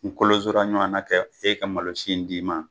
kolonsora ɲɔwan na kɛ e ka malosi in d'i ma.